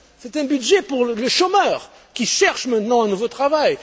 C'est un budget pour le chômeur qui cherche maintenant un nouveau travail.